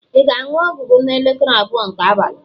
ị ga-aṅụ ọgwụ gị n'elekere abụọ nke abalị?